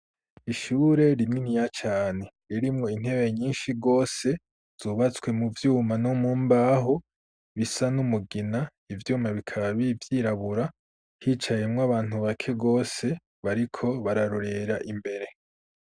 Ishure rininiya cane ririmwo intebe nyinshi gose zubatswe mu vyuma no mumbahu bisa n'umugina ivyuma bikaba vyirabura hicayemo abantu bake rwose bariko bararorera imbere.